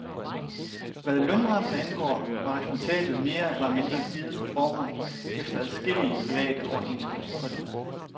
Hvad lønrammen angår var resultatet mere eller mindre givet på forhånd efter adskillige private overenskomstforlig.